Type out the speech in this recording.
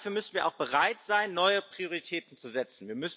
Aber dafür müssen wir auch bereit sein, neue Prioritäten zu setzen.